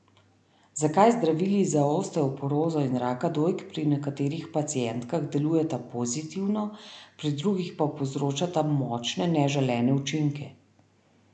Zakaj zdravili za osteoporozo in raka dojk pri nekaterih pacientkah delujeta pozitivno, pri drugih pa povzročata močne neželene učinke?